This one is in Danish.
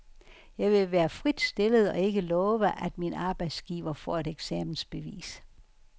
Jeg vil være frit stillet og ikke love, at min arbejdsgiver får et eksamensbevis.